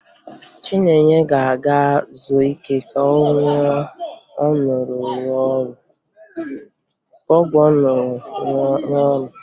Chinenye ga-aga zuo ike ka ọgwụ ọ ṅụrụ rụọ ọrụ